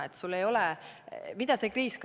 Mida see kriis õpetas?